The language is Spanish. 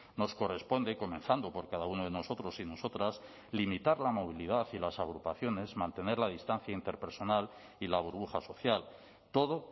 nos corresponde comenzando por cada uno de nosotros y nosotras limitar la movilidad y las agrupaciones mantener la distancia interpersonal y la burbuja social todo